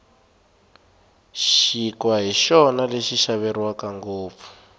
xinkwa hi xona xi xaveriwaka ngopfu